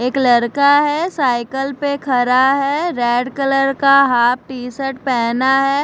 एक लड़का है साईकल पे खड़ा है रेड कलर का हाफ टी शर्ट पहना है।